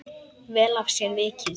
Vel af sér vikið.